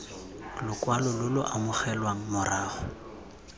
lokwalo lo lo amogelwang morago